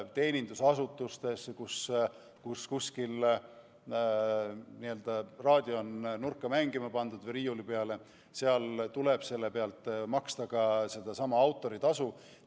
Ka teenindusasutustes, kus on raadio kuskile nurka või riiuli peale mängima pandud, tuleb selle pealt maksta sedasama autoritasu.